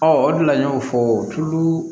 Ɔ o de la n y'o fɔ tulu